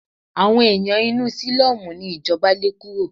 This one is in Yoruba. Àwọn ẹ̀yàn inú sílọ́mù ni ìjọba lé kúrò.